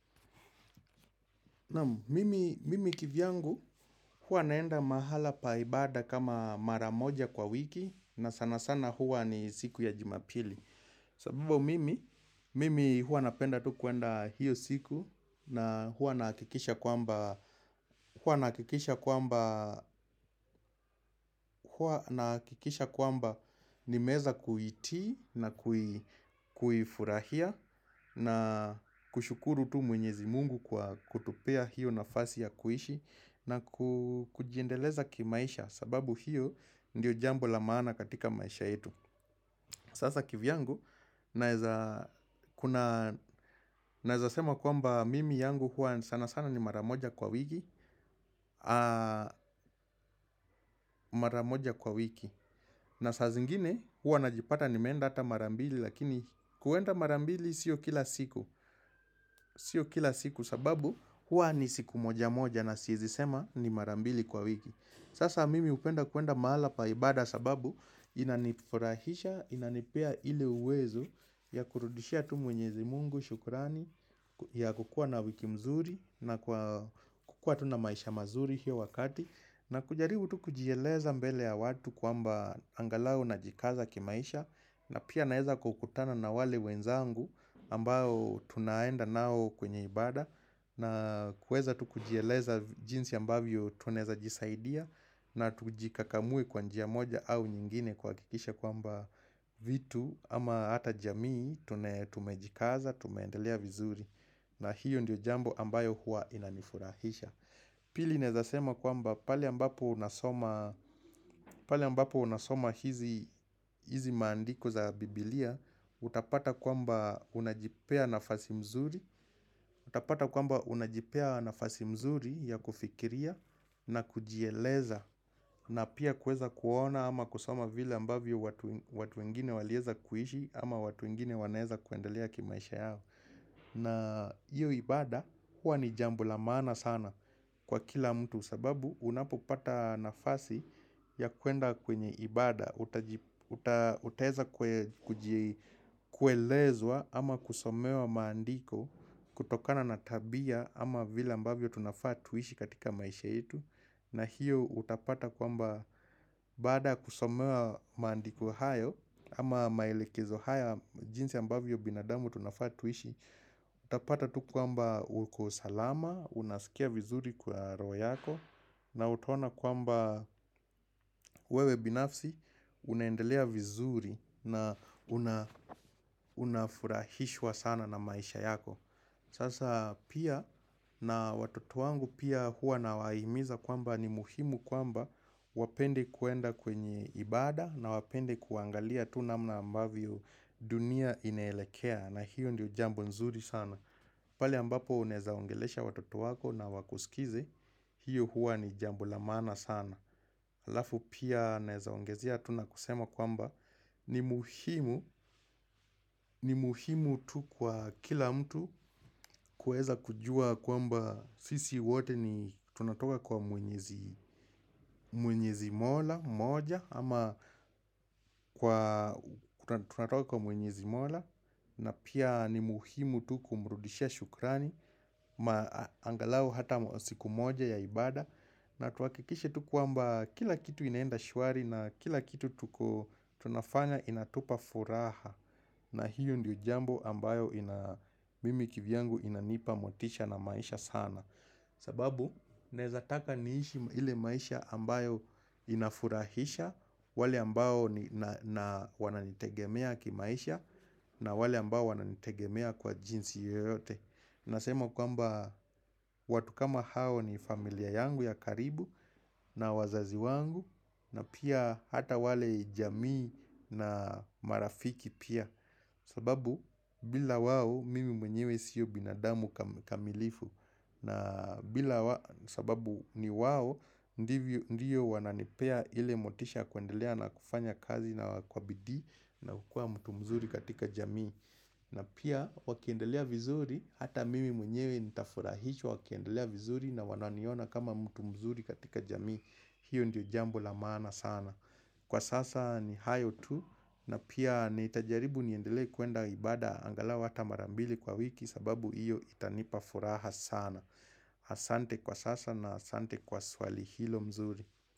Mimi kivyangu huwa naenda mahala pa ibada kama maramoja kwa wiki na sana sana huwa ni siku ya jumapili. Sababu mimi, mimi huwa napenda tu kuenda hiyo siku na huwa nahikisha kwamba huwa nahakikisha kwamba huwa nahakikisha kwamba nimeweza kuitii na kuifurahia na kushukuru tu mwenyezi mungu kwa kutupea hiyo nafasi ya kuishi na kujiendeleza kimaisha sababu hiyo ndiyo jambo la maana katika maisha yetu. Sasa kivyangu naweza kuna naweza sema kwamba mimi yangu huwa sana sana ni mara moja kwa wiki Mara moja kwa wiki na sasa zingine huwa najipata nimeenda hata mara mbili Lakini kuenda mara mbili sio kila siku Sio kila siku sababu huwa ni siku moja moja na siwezi sema ni mara mbili kwa wiki Sasa mimi hupenda kuenda mahala pa ibada sababu inanifurahisha, inanipea ili uwezo ya kurudishia tu mwenyezi mungu shukurani ya kukuwa na wiki mzuri na kukuwa tu na maisha mazuri hiyo wakati na kujaribu tu kujieleza mbele ya watu kwamba angalau najikaza kimaisha na pia naweza kukutana na wale wenzangu ambao tunaenda nao kwenye ibada na kuweza tu kujiyeleza jinsi ambavyo tunaeza jisaidia na tujikakamue kwa njia moja au nyingine kuhakikisha kwamba vitu ama hata jamii tumejikaza, tumeendelea vizuri. Na hiyo ndio jambo ambayo huwa inanifurahisha. Pili naweza sema kwamba pale ambapo nasoma hizi hizi maandiko za biblia, utapata kwamba unajipea nafasi mzuri. Utapata kwamba unajipea nafasi mzuri ya kufikiria na kujieleza na pia kuweza kuona ama kusoma vile ambavyo watu wengine waliweza kuishi ama watu wengine wanaweza kuendelea kimaisha yao na hiyo ibada huwa ni jambo la maana sana kwa kila mtu sababu unapopata nafasi ya kuenda kwenye ibada utaweza kuelezwa ama kusomewa maandiko kutokana na tabia ama vile ambavyo tunafaa tuishi katika maisha yetu na hiyo utapata kwamba baada kusomewa maandiko hayo ama maelekezo haya jinsi ambavyo binadamu tunafaa tuishi Utapata tu kwamba uko salama, unasikia vizuri kwa roho yako na utaona kwamba wewe binafsi unaendelea vizuri na unafurahishwa sana na maisha yako Sasa pia na watoto wangu pia huwa nawahimimiza kwamba ni muhimu kwamba Wapende kuenda kwenye ibada na wapende kuangalia tu namna ambavyo dunia inaelekea na hiyo ndiyo jambo nzuri sana pale ambapo unaeza ongelesha watoto wako na wakusikize, hiyo huwa ni jambo la maana sana. Alafu pia naweza ongezea tu na kusema kwamba ni muhimu, ni muhimu tu kwa kila mtu kuweza kujua kwamba sisi wote ni tunatoka kwa mwenyezi mwenyezi mola, moja, ama tunatoka kwa mwenyezi mola. Na pia ni muhimu tu kumrudishia shukrani Maangalau hata siku moja ya ibada na tuhakikishe tu kwamba kila kitu inaenda shwari na kila kitu tuko tunafanya inatupa furaha na hiyo ndiyo jambo ambayo mimi kivyangu inanipa motisha na maisha sana sababu nweza taka niishi ile maisha ambayo inafurahisha wale ambao wananitegemea kimaisha na wale ambao wananitegemea kwa jinsi yoyote Nasema kwamba watu kama hao ni familia yangu ya karibu na wazazi wangu na pia hata wale jamii na marafiki pia sababu bila wao mimi mwenyewe sio binadamu kamilifu na sababu ni wao ndiyo wananipea ile motisha kuendelea na kufanya kazi na kwa bidii na kukuwa mtu mzuri katika jamii na pia wakiendelea vizuri Hata mimi mwenyewe nitafurahishwa wakiendelea vizuri na wananiona kama mtu mzuri katika jamii hiyo ndio jambo la maana sana Kwa sasa ni hayo tu na pia nitajaribu niendelee kuenda ibada angalauhata mara mbili kwa wiki sababu hiyo itanipafuraha sana Asante kwa sasa na asante kwa swali hilo mzuri.